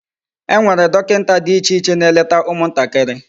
Enwere dokinta di iche iche na-eleta umu ntakiri.